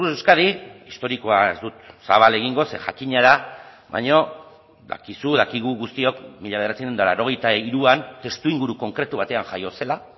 euskadi historikoa ez dut zabal egingo ze jakina da baina dakizu dakigu guztiok mila bederatziehun eta laurogeita hiruan testuinguru konkretu batean jaio zela